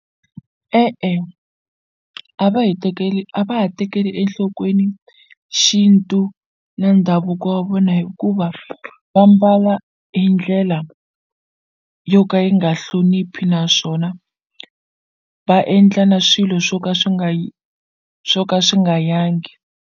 E-e a va hi tekeli a va ha tekeli enhlokweni xintu na ndhavuko wa vona hikuva va mbala hi ndlela yo ka yi nga hloniphi naswona va endla na swilo swo ka swi nga swo ka swi nga yangi.